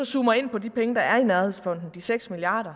zoomer ind på de penge der er i nærhedsfonden de seks milliard